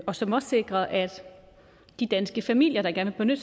og som også sikrer at de danske familier der gerne